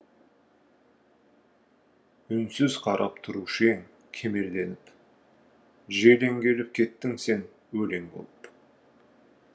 үнсіз қарап тұрушы ең кемелденіп желең келіп кеттің сен өлең болып